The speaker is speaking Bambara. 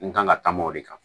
N kan ka taama o de kan